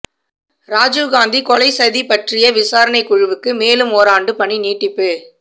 ராஜீவ்காந்தி கொலை சதி பற்றிய விசாரணை குழுவுக்கு மேலும் ஓராண்டு பணி நீட்டிப்பு